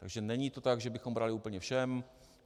Takže není to tak, že bychom brali úplně všem.